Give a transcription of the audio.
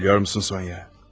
Bilirsənmi, Sonya?